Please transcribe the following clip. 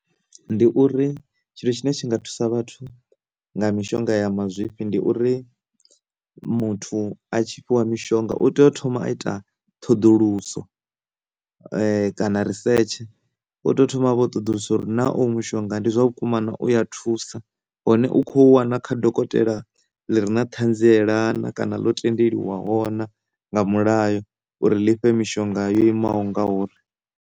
Ndi uri tshithu tshine tshi nga thusa vhathu nga mishonga ya mazwifhi ndi uri muthu a tshi fhiwa mishonga u tea u thoma a ita ṱhoḓuluso kana research, u tea u thoma avha o ṱoḓulusa uri na oyu mushonga ndi zwavhukuma na u ya thusa hone u khou wana kha dokotela ḽi ri na ṱhanziela na kana ḽo tendeliwaho na nga mulayo uri ḽi fhe mishonga na yo imaho nga uri.